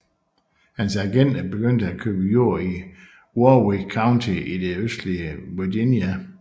Hans agenter begyndte at købe jord i Warwick County i det østlige Virginia